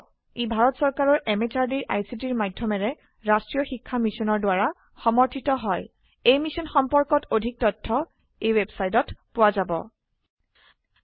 ই ভাৰত চৰকাৰৰ MHRDৰ ICTৰ মাধয়মেৰে ৰাস্ত্ৰীয় শিক্ষা মিছনৰ দ্ৱাৰা সমৰ্থিত হয় এই মিশ্যন সম্পৰ্কত অধিক তথ্য spoken hyphen tutorial dot org slash এনএমইআইচিত হাইফেন ইন্ট্ৰ ৱেবচাইটত পোৱা যাব